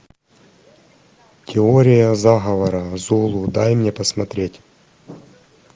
теория заговора зулу дай мне посмотреть